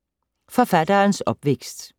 Forfatterens opvækst